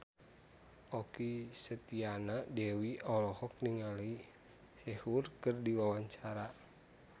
Okky Setiana Dewi olohok ningali Sehun keur diwawancara